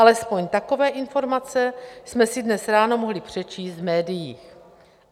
Alespoň takové informace jsme si dnes ráno mohli přečíst v médiích.